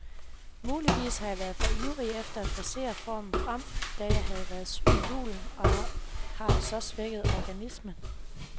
Muligvis har jeg været for ivrig efter at forcere formen frem, da jeg havde været syg i julen og har så svækket organismen.